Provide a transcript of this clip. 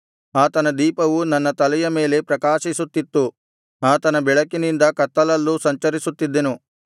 ಆತನ ದೀಪವು ನನ್ನ ತಲೆಯ ಮೇಲೆ ಪ್ರಕಾಶಿಸುತ್ತಿತ್ತು ಆತನ ಬೆಳಕಿನಿಂದ ಕತ್ತಲಲ್ಲೂ ಸಂಚರಿಸುತ್ತಿದ್ದೆನು